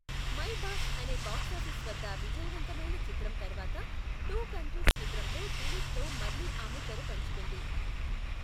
My boss అనే box office వద్ద విజయవంతమైన చిత్రం తర్వాత టూ కంట్రీస్ చిత్రంలో దిలీప్తో మళ్ళీ ఆమె తెర పంచుకుంది.